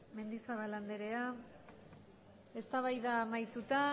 mendizabal anderea eztabaida amaituta